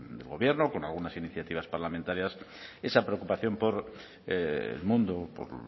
de gobierno con algunas iniciativas parlamentarias esa preocupación por el mundo por